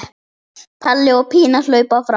Palli og Pína hlaupa fram.